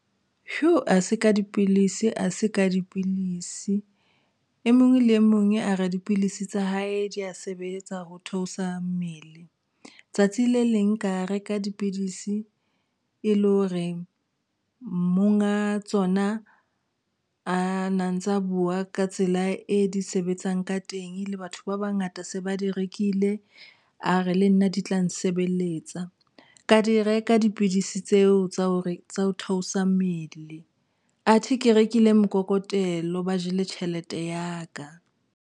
Ha se ka dipilisi, a se ka dipilisi, e mong le e mong a re dipilisi tsa hae di a sebetsa ho theosa mmele tsatsi le leng ka reka dipidisi e le hore monga tsona a na ntsa bua ka tsela e di sebetsang ka teng. Le batho ba bangata se ba di rekile a re le nna di tla nsebeletsa ka di reka dipidisi tseo tsa hore tsa ho theosa mmele athe ke rekile mokokotelo ba jele tjhelete ya ka.